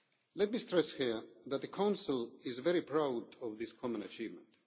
Let me stress here that the Council is very proud of this common achievement.